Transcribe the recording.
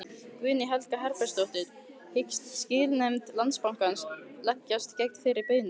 Guðný Helga Herbertsdóttir: Hyggst skilanefnd Landsbankans leggjast gegn þeirri beiðni?